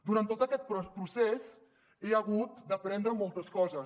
durant tot aquest procés he hagut d’aprendre moltes coses